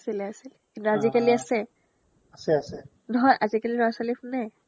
আছিলে আছিলে কিন্তু আজিকালি আছে আছে আছে নহয় আজিকালি ল'ৰা-ছোৱালীয়ে শুনে